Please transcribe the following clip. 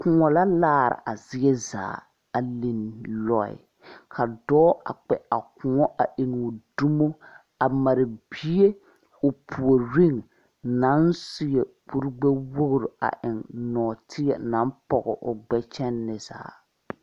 Kõɔ la laare a zie zaa a linne lɔɛ ka dɔɔ a kpɛ a kõɔ a eŋoo dumo a mare bie o puoriŋ naŋ seɛ kurigbɛwogre a eŋ nɔɔteɛ naŋ pɔge o gbɛ kyɛnne zaa.